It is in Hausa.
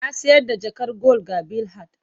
Na sayar da jakar gwal ga Bilhat.